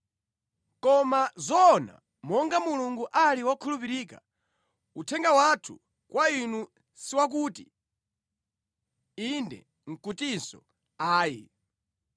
Koma zoona monga Mulungu ali wokhulupirika, uthenga wathu kwa inu siwakuti, “Inde” nʼkutinso “Ayi.”